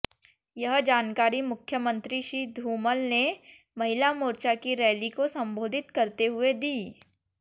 यह जानकारी मुख्यमंत्री श्री धूमल ने महिला मोर्चा की रैली को संबोधित करते हुए दी